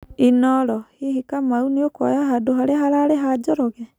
(Inooro)Hihi Kamau nikuoya handũ haria hararĩ ha Njoroge.